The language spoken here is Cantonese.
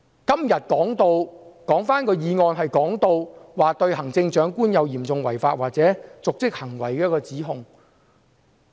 今天的議案是對行政長官有嚴重違法或瀆職行為的指控。